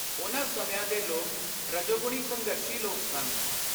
ਉਨ੍ਹਾਂ ਸਮਿਆਂ ਦੇ ਲੋਕ ਰਜੋਗੁਣੀ ਸੰਘਰਸ਼ੀ ਲੋਕ ਸਨ।